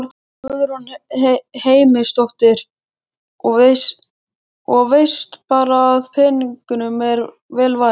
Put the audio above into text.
Guðrún Heimisdóttir: Og veist bara að peningunum er vel varið?